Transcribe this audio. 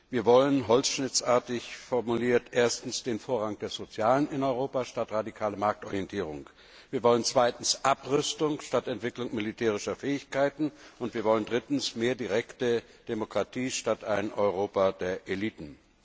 Wir wollen holzschnittartig formuliert Erstens den Vorrang des Sozialen in Europa statt radikale Marktorientierung, Zweitens Abrüstung statt Entwicklung militärischer Fähigkeiten und Drittens mehr direkte Demokratie statt ein Europa der Eliten.